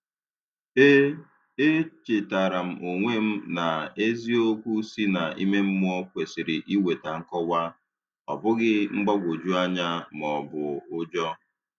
E E chetara m onwe m na eziokwu si na ime mmụọ kwesịrị ị weta nkọwa, ọ bụghị mgbagwoju anya ma ọbụ ụjọ